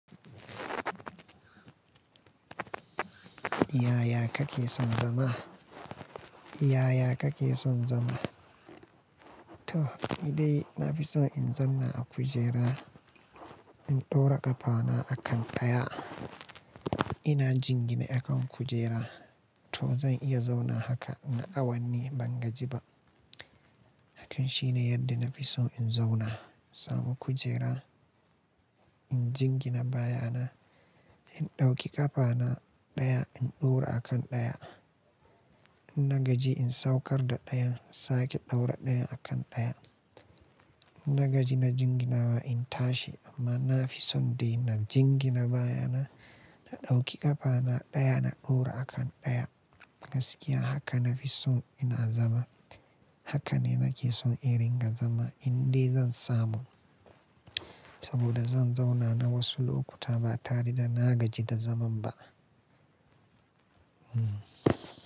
Yaya kake son zama? Yaya kake son zama? To, ni dai na fi so in zauna a kujera, in ɗaura ƙafana a kan ɗaya, ina jingine a kan kujera. To zan iya zaunawa haka nayi awanni ban gaji ba. Hakan shine yadda na fi so in zauna, samu kujera, in jingine baya na, in ɗauki ƙafana ɗaya, in ɗaura a kan ɗaya. In na gaji in saukar da ɗayan, sake ɗaura ɗayan a kan ɗaya. In na gaji na jinginawa in tashi amma na fi son dai na jingina baya na, na ɗauki ƙafana ɗaya na ɗaura a kan ɗaya. Gaskiya haka na fi so ina zama. Haka ne nake son in ringa zama in dai zan samu. Saboda zan zauna na wasu lokuta ba tare da na gaji da zaman ba. Hmm.